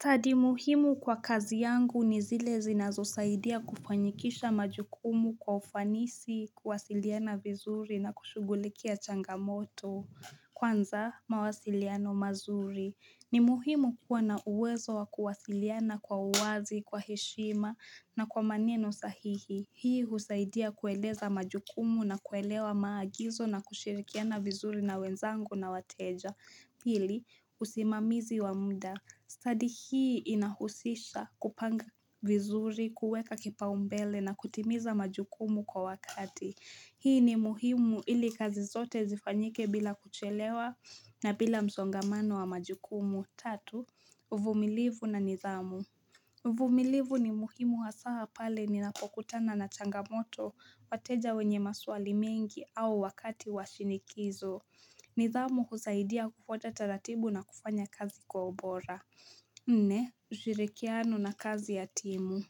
Study muhimu kwa kazi yangu ni zile zinazo saidia kufanyikisha majukumu kwa ufanisi, kuwasiliana vizuri na kushugulikia changamoto, kwanza mawasiliano mazuri. Ni muhimu kuwa na uwezo wa kuwasiliana kwa uwazi, kwa heshima na kwa maneno sahihi. Hii husaidia kueleza majukumu na kuelewa maagizo na kushirikiana vizuri na wenzangu na wateja. Hili, usimamizi wa muda. Study hii inahusisha kupanga vizuri, kuweka kipaumbele na kutimiza majukumu kwa wakati. Hii ni muhimu ili kazi zote zifanyike bila kuchelewa na bila msongamano wa majukumu. Tatu, uvumilivu na nidhamu. Uvumilivu ni muhimu hasa hapale ni napokutana na changamoto, wateja wenye maswali mengi au wakati wa shinikizo. Nidhamu husaidia kufwata taratibu na kufanya kazi kwa ubora. Nne, ushirikiano na kazi ya timu.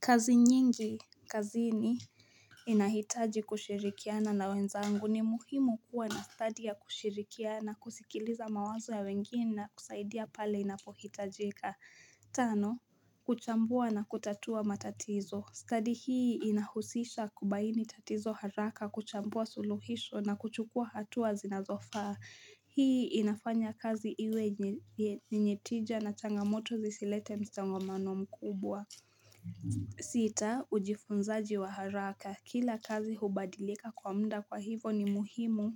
Kazi nyingi, kazini, inahitaji kushirikiana na wenzangu. Ni muhimu kuwa na study ya kushirikiana, kusikiliza mawazo ya wengine na kusaidia pale inapohitajika. Tano, kuchambua na kutatua matatizo. Study hii inahusisha kubaini tatizo haraka kuchambua suluhisho na kuchukua hatuwa zinazofaa. Hii inafanya kazi iwe yenye tija na changamoto zisilete msongamano mkubwa. Sita, ujifunzaji wa haraka. Kila kazi hubadilika kwa muda kwa hivo ni muhimu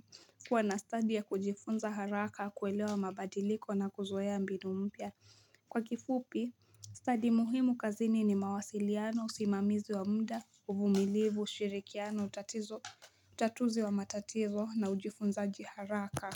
kuwa na study ya kujifunza haraka kuelewa mabadiliko na kuzoea mbinu mpya. Kwa kifupi, stadi muhimu kazini ni mawasiliano, usimamizi wa muda, uvumilivu, ushirikiano, tatuzi wa matatizo na ujifunzaji haraka.